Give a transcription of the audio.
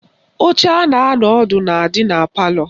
Oche a na-anọ ọdụ na-adị na palọ